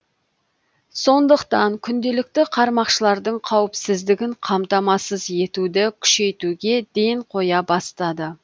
сондықтан күнделікті қармақшылардың қауіпсіздігін қамтамасыз етуді күшейтуге ден қоя бастады